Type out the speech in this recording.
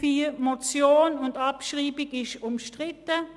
Ziffer 4: als Motion, und die Abschreibung wird bestritten.